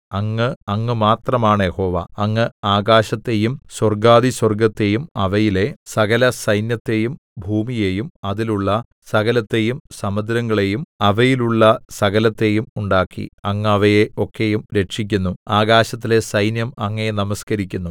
അങ്ങ് അങ്ങ് മാത്രമാണ് യഹോവ അങ്ങ് ആകാശത്തെയും സ്വർഗ്ഗാധിസ്വർഗ്ഗത്തെയും അവയിലെ സകലസൈന്യത്തെയും ഭൂമിയെയും അതിലുള്ള സകലത്തെയും സമുദ്രങ്ങളെയും അവയിലുള്ള സകലത്തെയും ഉണ്ടാക്കി അങ്ങ് അവയെ ഒക്കെയും രക്ഷിക്കുന്നു ആകാശത്തിലെ സൈന്യം അങ്ങയെ നമസ്കരിക്കുന്നു